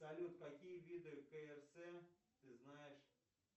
салют какие виды крс ты знаешь